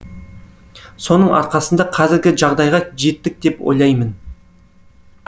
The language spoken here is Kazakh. соның арқасында қазіргі жағдайға жеттік деп ойлаймын